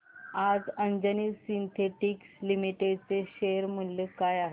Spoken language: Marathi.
आज अंजनी सिन्थेटिक्स लिमिटेड चे शेअर मूल्य काय आहे